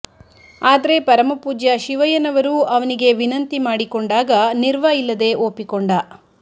ಆದ್ರೆ ಪರಮಪೂಜ್ಯ ಶಿವಯ್ಯನವರೂ ಅವನಿಗೆ ವಿನಂತಿ ಮಾಡಿಕೊಂಡಾಗ ನಿರ್ವ ಇಲ್ಲದೆ ಒಪ್ಪಿಕೊಂಡ